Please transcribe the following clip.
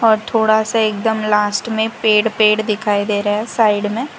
और थोड़ा सा एकदम लास्ट में पेड़ पेड़ दिखाई दे रहा है साइड में।